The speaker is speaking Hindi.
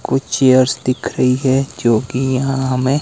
कुछ चेयर्स दिख रही है रही है जोकि यहां हमें --